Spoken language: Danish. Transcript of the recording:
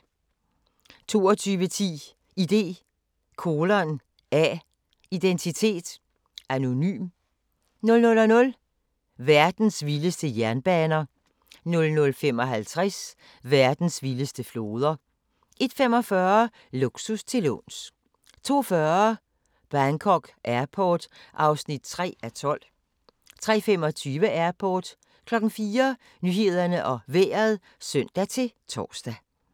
22:10: ID:A – identitet anonym 00:00: Verdens vildeste jernbaner 00:55: Verdens vildeste floder 01:45: Luksus til låns 02:40: Bangkok Airport (3:12) 03:25: Airport 04:00: Nyhederne og Vejret (søn-tor)